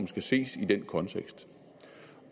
skal ses i den kontekst